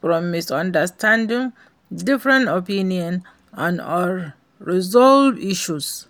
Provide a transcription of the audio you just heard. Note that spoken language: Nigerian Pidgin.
from misunderstanding, different opinions and unresolved issues.